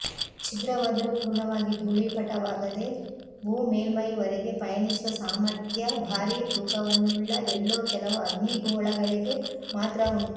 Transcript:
ಛಿದ್ರವಾದರೂ ಪೂರ್ಣವಾಗಿ ದೂಳೀಪಟವಾಗದೆ ಭೂ ಮೇಲ್ಮೈವರೆಗೆ ಪಯಣಿಸುವ ಸಾಮಥ್ರ್ಯ ಭಾರೀ ತೂಕವನ್ನುಳ್ಳ ಎಲ್ಲೋ ಕೆಲವು ಅಗ್ನಿಗೋಳಗಳಿಗೆ ಮಾತ್ರ ಉಂಟು